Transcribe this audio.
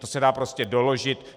To se dá prostě doložit.